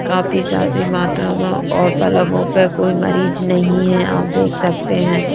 काफी सादी मात्रा में और पलंगों पर कोई मरीज नहीं है आप देख सकते हैं।